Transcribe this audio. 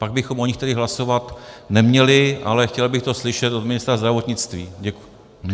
Pak bychom o nich tedy hlasovat neměli, ale chtěl bych to slyšet od ministra zdravotnictví.